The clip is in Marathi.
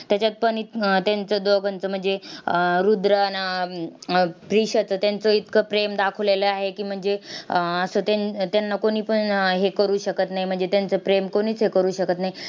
त्याच्यात पण इत त्यांचं दोघांचं म्हणजे आह रुद्र आन अं रीशाचं त्यांचं इतकं प्रेम दाखवलेलं आहे की, म्हणजे अह असं त्यानं त्यांना कोणीपण हे करू शकत नाही, म्हणजे त्यांचे प्रेम कोणीच हे करू शकत नाही.